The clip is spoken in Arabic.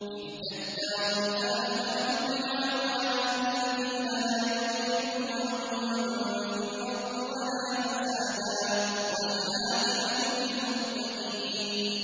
تِلْكَ الدَّارُ الْآخِرَةُ نَجْعَلُهَا لِلَّذِينَ لَا يُرِيدُونَ عُلُوًّا فِي الْأَرْضِ وَلَا فَسَادًا ۚ وَالْعَاقِبَةُ لِلْمُتَّقِينَ